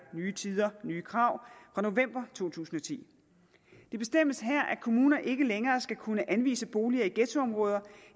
nye tider nye krav fra november to tusind og ti det bestemmes her at kommuner ikke længere skal kunne anvise boliger i ghettoområder